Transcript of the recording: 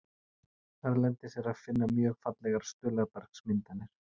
Erlendis er að finna mjög fallegar stuðlabergsmyndanir.